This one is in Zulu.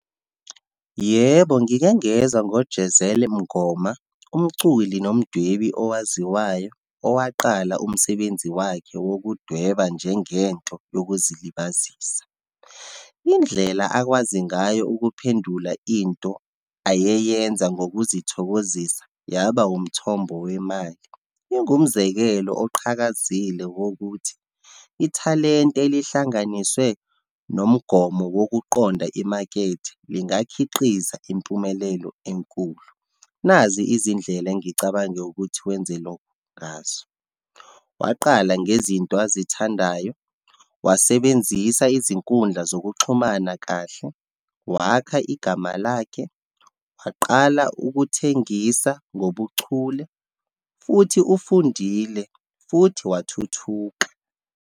Yebo, ngike ngezwa ngoJezel Mngoma, umculi nomdwebi owaziwayo, owaqala umsebenzi wakhe wokudweba njengento yokuzilibazisa. Indlela akwazi ngayo ukuphendula into ayeyenza ngokuzithokozisa, yaba umthombo wemali, ingimzekelo oqhakazile wokuthi, ithalente elihlanganiswe nomgomo wokuqonda imakethe, lingakhiqiza impumelelo enkulu. Nazi izindlela engicabange ukuthi wenze lokhu ngazo. Waqala ngezinto azithandayo, wasebenzisa izinkundla zokuxhumana kahle, wakha igama lakhe, waqala ukuthengisa ngobuchule, futhi ufundile, futhi wathuthuka.